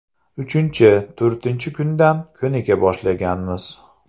Uchinchi, to‘rtinchi kundan ko‘nika boshlaganmiz.